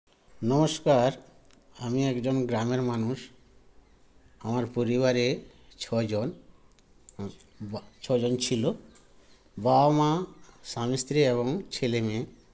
নমস্কার আমি একজন গ্রামের মানুষ আমার পরিবারে ছজন উ বা ছজন ছিল বাবা মা স্বামী স্ত্রী এবং ছেলে মেয়ে